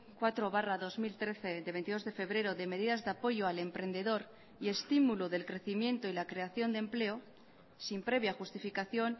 cuatro barra dos mil trece de veintidós de febrero de medidas de apoyo al emprendedor y estimulo del crecimiento y la creación de empleo sin previa justificación